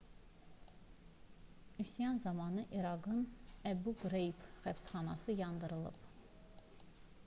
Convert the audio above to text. üsyan zamanı i̇raqın əbu qreyb həbsxanası yandırılıb